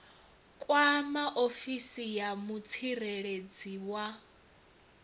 kwama ofisi ya mutsireledzi wa